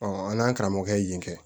an n'an karamɔgɔkɛ yen kɛ